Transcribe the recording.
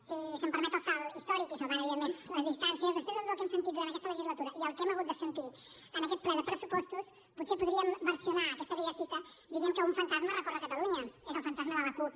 si se’m permet el salt històric i salvant evidentment les distàncies després de tot el que hem sentit durant aquesta legislatura i el que hem hagut de sentir en aquest ple de pressupostos potser podríem versionar aquesta vella cita dient que un fantasma recorre catalunya és el fantasma de la cup